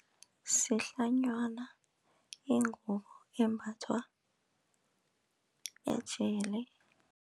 Sihlanywana ingubo embathwa ejele.